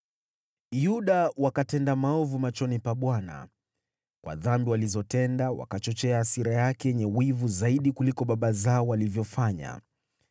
Yuda wakatenda maovu machoni pa Bwana . Kwa dhambi walizotenda wakachochea hasira yake yenye wivu zaidi kuliko baba zao walivyofanya.